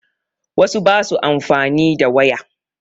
Wasu ba su amfani da waya